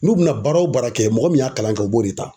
N'u bɛna baara o baara kɛ mɔgɔ min y'a kalan kɛ u b'o de ta.